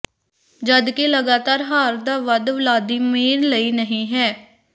ਜਦਕਿ ਲਗਾਤਾਰ ਹਾਰ ਦਾ ਵੱਧ ਵਲਾਦੀਮੀਰ ਲਈ ਨਹੀ ਹੈ